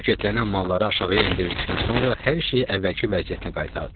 Paketlənən malları aşağıya endirdikdən sonra hər şeyi əvvəlki vəziyyətinə qaytardılar.